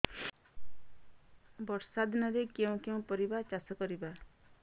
ବର୍ଷା ଦିନରେ କେଉଁ କେଉଁ ପରିବା ଚାଷ କରିବା